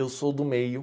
Eu sou do meio.